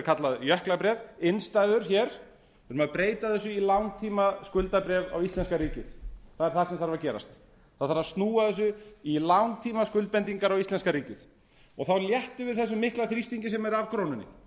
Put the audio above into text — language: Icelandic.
kallað jöklabréf innstæður hér við þurfum að breyta þessu í langtímaskuldabréf á íslenska ríkið það er það sem þarf að gerast það þarf að snúa þessu í langtímaskuldbindingar á íslenska ríkið þá léttum við þessum mikla þrýstingi sem er af krónunni